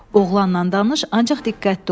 Oğlanla danış, ancaq diqqətli ol.